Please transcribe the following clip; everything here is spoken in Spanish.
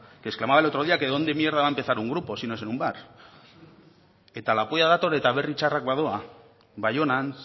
que exclamaba el otro día que dónde mierda va a empezar un grupo si no es en un bar eta la polla dator eta berri txarrak badoa baionan